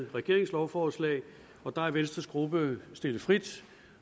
regeringens lovforslag og der er venstres gruppe stillet frit